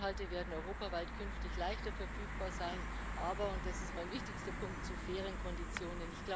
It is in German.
Inhalte werden europaweit künftig leichter verfügbar sein, aber und das ist mein wichtigster Punkt zu fairen Konditionen.